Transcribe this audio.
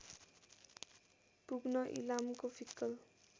पुग्न इलामको फिक्कल